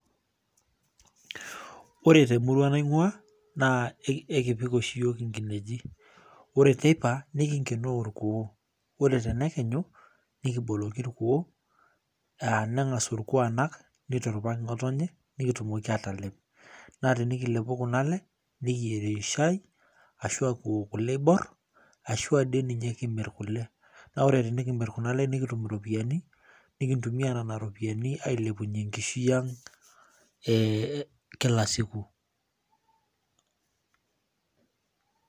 Ore temurua naing'ua naa ekipik oshi iyiol inkineji ore teipa nikinkenoo ikuoo ore tenekenyu nikinoloki irkuo aa neng'as orkuo anak neiturupaki ng'otonye nikitumoki aatalep naatenikilepu kunale nikiyierie shaai ashua kiwok kule eibor ashua dii ninye kimir kule naa ore tenekimir kuna le nikitum iropiyiani nikintumia nena ropiyiani ailepunyie enkishui ang ee kila siku .